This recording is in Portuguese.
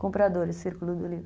Comprador, o círculo do livro.